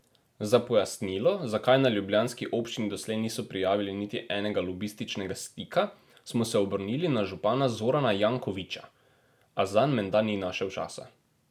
Za pojasnilo, zakaj na ljubljanski občini doslej niso prijavili niti enega lobističnega stika, smo se obrnili na župana Zorana Jankovića, a zanj menda ni našel časa.